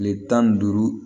Kile tan ni duuru